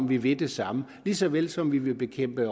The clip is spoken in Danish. vi vil det samme lige så vel som vi vil bekæmpe